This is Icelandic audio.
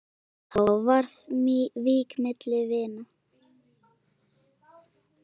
Þá var vík milli vina.